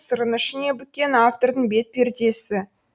сырын ішіне бүккен автордың бет пердесі